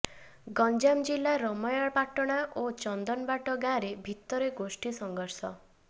ଗଞ୍ଜାମ ଜିଲ୍ଲା ରମେୟପାଟଣା ଓ ଚନ୍ଦନବାଟ ଗାଁରେ ଭିତରେ ଗୋଷ୍ଠୀ ସଂଘର୍ଷ